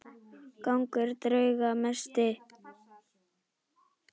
Gangur drauga mesti.